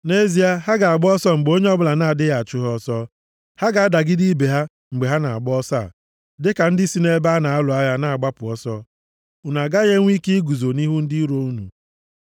Nʼezie, ha ga-agba ọsọ mgbe onye ọbụla na-adịghị achụ ha ọsọ. Ha ga-adagide ibe ha mgbe ha na-agba ọsọ a, dịka ndị si nʼebe a na-alụ agha na-agbapụ ọsọ. Unu agaghị enwe ike iguzo nʼihu ndị iro unu.